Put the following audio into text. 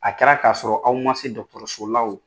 A kɛra k'a sɔrɔ aw ma se dɔgɔtoroso la o